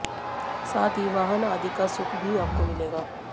साथ ही वाहन आदि का सुख भी आपको मिलेगा